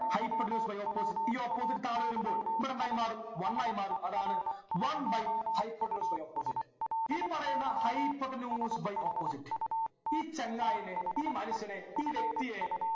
hypotenuse by opposite ഈ opposite താഴെ വരുമ്പോൾ ഇവിടെ എന്തായി മാറി one ആയി മാറും അതാണ് one by hypotenuse by opposite ഈ പറയുന്ന hypotenuse by opposite ഈ ചങ്ങായിയെ ഈ മനുഷ്യനെ ഈ വ്യക്തിയെ